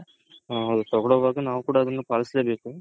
ಹ್ಮ್ ಅವ್ರು ತಗೊಳೋವಾಗ ನಾವು ಕೂಡ ಅದನ್ನ ಪಾಲ್ಸಲೇ ಬೇಕು .